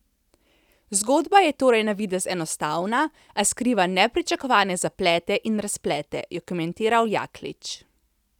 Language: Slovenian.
Zgodba je torej na videz enostavna, a skriva nepričakovane zaplete in razplete, je komentiral Jaklič.